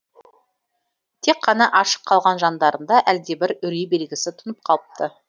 тек қана ашық қалған жандарында әлдебір үрей белгісі тұнып қалыпты